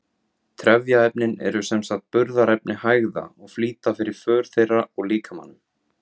Trefjaefnin eru sem sagt burðarefni hægða og flýta fyrir för þeirra úr líkamanum.